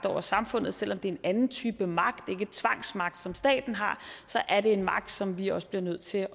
over samfundet og selv om det er en anden type magt ikke tvangsmagt som staten har er det en magt som vi også bliver nødt til